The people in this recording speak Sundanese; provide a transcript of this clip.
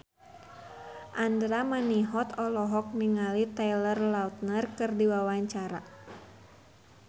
Andra Manihot olohok ningali Taylor Lautner keur diwawancara